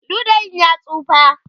ludayin ya tsufa